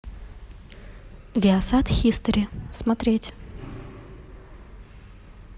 виасат хистори смотреть